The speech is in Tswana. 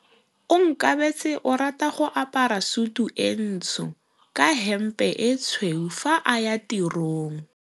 Onkabetse o rata go apara sutu e ntsho ka hempe e tshweu fa a ya tirong.